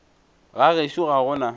ga gešo ga go na